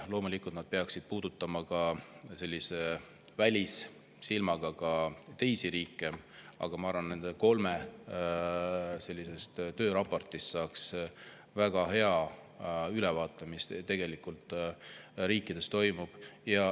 Loomulikult peaksid nad sellise välissilmaga puudutama ka teisi riike, aga ma arvan, et nendest kolmest tööraportist saaks väga hea ülevaate, mis tegelikult toimub.